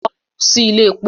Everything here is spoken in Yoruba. Lọ sí ilé èpo!